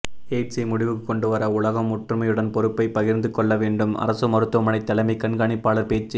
எய்ட்ஸை முடிவுக்கு கொண்டுவர உலகம் ஒற்றுமையுடன் பொறுப்பை பகிர்ந்து கொள்ள வேண்டும் அரசு மருத்துவமனை தலைமை கண்காணிப்பாளர் பேச்சு